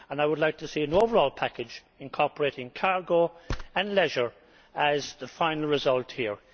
I would like to see an overall package incorporating cargo and leisure as the final result here.